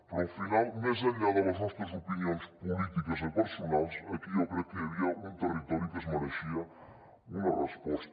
però al final més enllà de les nostres opinions polítiques i personals aquí jo crec que hi havia un territori que es mereixia una resposta